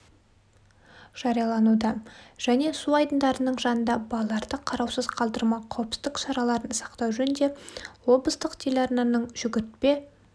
жариялануда және су айдындарының жанында балаларды қараусыз қалдырмау қауіпсіздік шараларын сақтау жөнінде облыстық телеарнаның жүгіртпе